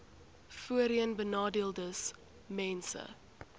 voorheenbenadeeldesmense